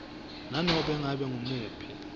nanobe ngabe nguwuphi